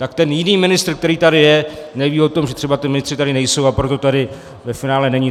Tak ten jediný ministr, který tady je, neví o tom, že třeba ti ministři tady nejsou, a proto tady ve finále není.